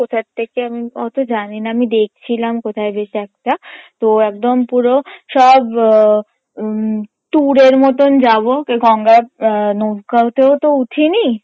কথার্থেকে আমি অত জানিনা আমি দেখছিলাম কোথায় বেশ একটা তো একদম পুরো সব ও উম tour এর মতন যাবো নৌকায় তো উঠিনি